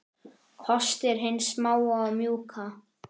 Kostir hins smáa og mjúka